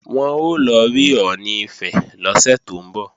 Wọ́n ń lọ rí Ọọ̀ni Ifẹ̀ lọ́sẹ̀ tó ń bọ̀